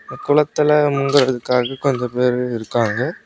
குளத்துல முங்கற்துக்காக கொஞ்ச பேரு இருக்காங்க.